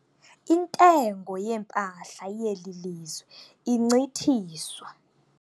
Intengo yeempahla yeli lizwe incithiswa